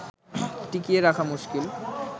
টিকিয়ে রাখা মুশকিল